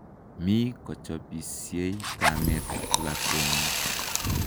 Mi kochopisiei kamet ak lakwenyi